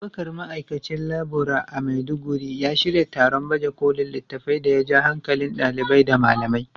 Abubakar, Ma’aikacin Laburare a Maiduguri, ya shirya taron baje kolin littafai da ya ja hankalin ɗalibai da malamai.